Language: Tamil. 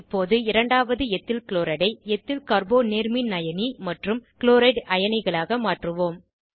இப்போது இரண்டாவது எத்தில்க்ளோரைடை எத்தில் கார்போ நேர்மின்அயனி மற்றும் க்ளோரைட் அயனிகளாக மாற்றுவோம்